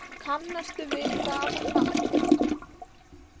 Kannastu við það nafn?